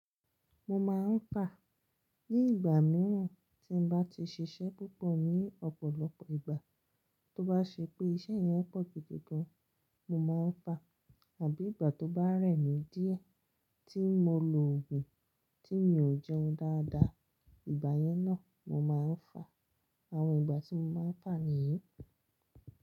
Mo máa ń ta ní ìgbà mìíràn tí n bá ti ṣiṣẹ́ púpọ̀ ní ọ̀pọ̀lọpọ̀ ìgbà, tó bá ṣe pé iṣẹ́ yẹn pọ̀ gidi gan, mo máa ń fà àbí ìgbà tó bá rẹ̀ mí díẹ̀ tí mo lo ògùn tí mi ò jẹun dáadáa, ìgbà yẹn náà mo máa ń fà. Àwọn ìgbà tí mo máa ń fà nìyí.